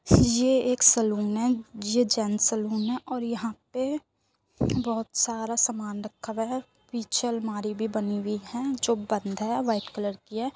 ये एक सलून है | ये जेन्स सलून है और यहाँ पे बहोत सारा सामान रखा हुआ हैं | पीछे अलमारी भी बनी हुई है जो बंद है | व्हाइट कलर की है |